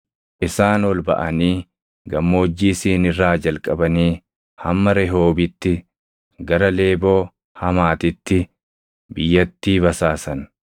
Isaan ol baʼanii Gammoojjii Siin irraa jalqabanii hamma Rehoobitti gara Leeboo Hamaatitti biyyattii basaasan.